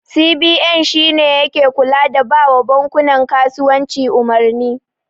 CBN shine yake kula da bawa bankunan kasuwanci umarni.